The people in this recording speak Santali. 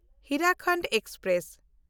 ᱦᱤᱨᱟᱯᱷᱳᱨᱴ ᱮᱠᱥᱯᱨᱮᱥ